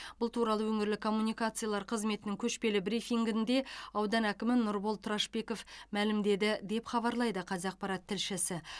бұл туралы өңірлік коммуникациялар қызметінің көшпелі брифингінде аудан әкімі нұрбол тұрашбеков мәлімдеді деп хабарлайды қазақпарат тілшісі